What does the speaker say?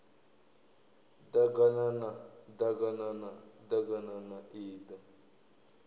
ḓaganana ḓ aganana ḓaganana iḓa